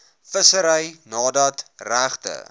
vissery nadat regte